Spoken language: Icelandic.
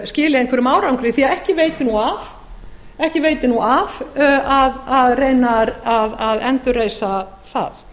skili einhverjum árangri því að ekki veitir nú af að reyna að endurreisa það